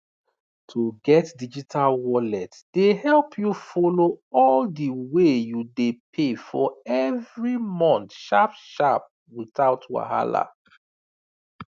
to get digital wallet dey help you follow all the wey you dey pay for every month sharpsharp without wahala